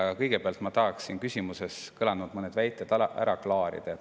Aga kõigepealt tahaksin mõned küsimuses kõlanud väited ära klaarida.